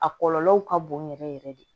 A kɔlɔlɔw ka bon yɛrɛ yɛrɛ de